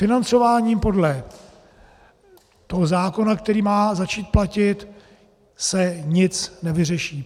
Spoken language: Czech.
Financováním podle toho zákona, který má začít platit, se nic nevyřeší.